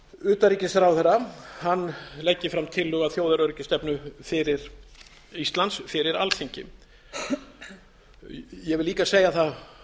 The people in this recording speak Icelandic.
utanríkisráðherra leggi fram tillögu að þjóðaröryggisstefnu fyrir ísland fyrir alþingi ég vil líka segja það